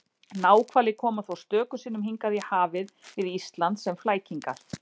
Náhvalir koma þó stöku sinnum hingað í hafið við Ísland sem flækingar.